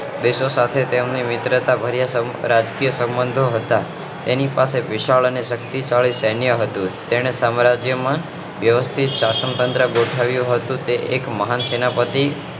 દેશો સાથે તેમનો મિત્રતા ભર્યા સંબંધ રાજકીય સંબંધો હતા તેની પાસે વિશાળ અને શક્તિશાળી સૈન્ય હતું તેણૅ સામ્રાજ્ય માં વ્યવસ્થિત શાસન તંત્ર ગોઠવ્યું હતું તે એક મહાન સેનાપતિ